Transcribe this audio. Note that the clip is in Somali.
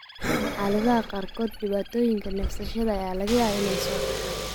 Xaaladaha qaarkood, dhibaatooyinka neefsashada ayaa laga yaabaa inay soo baxaan.